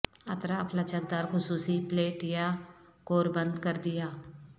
اطراف لچکدار خصوصی پلیٹ یا کور بند کر دیا